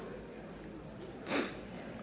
vi